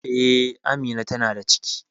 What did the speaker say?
Eh, Amina ta na da ciki